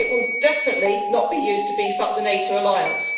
It will definitely not be used to beef up the NATO alliance.